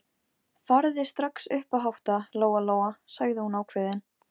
Þar voru líka fleiri og fallegri húsgögn.